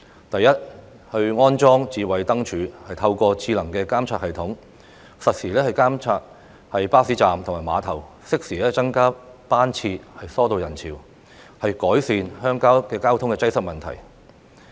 第一，安裝"智慧燈柱"，透過智能的監察系統，實時監察巴士站和碼頭，適時增車船加班次疏導人潮，以改善鄉郊的交通擠塞問題。